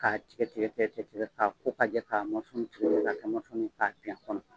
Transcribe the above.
Ka tigɛtigɛ tigɛrigɛ k'a ko ka jɛ a kɔnɔ.